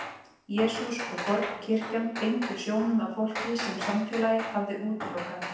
Jesús og fornkirkjan beindu sjónum að fólki sem samfélagið hafði útilokað.